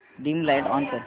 dim light on कर